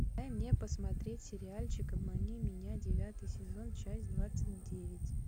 дай мне посмотреть сериальчик обмани меня девятый сезон часть двадцать девять